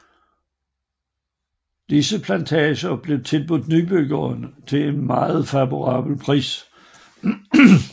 Disse plantager blev tilbudt nybyggere til en meget favorabel pris